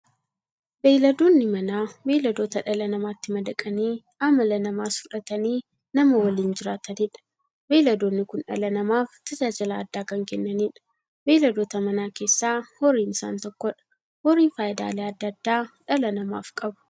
Beeyladoonni Manaa beeyladoota dhala namaatti madaqanii amala namaas fudhatanii, nama waliin jiraataniidha. Beeyladoonni kun dhala namaaf tajaajila adda addaa kan kennaniidha. Beeyladoota Manaa keessaa horiin isaan tokkodha. Horiin faayidaalee adda addaa dhala namaaf qabu.